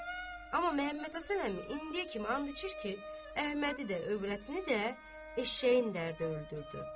Amma Məhəmməd Həsən əmi indiyə kimi and içir ki, Əhmədi də, övrətini də eşşəyin dərdi öldürdü.